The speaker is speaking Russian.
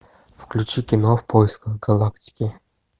включи кино в поисках галактики